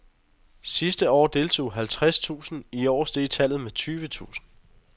Sidste år deltog halvtreds tusind, i år steg tallet med tyve tusind.